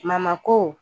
ko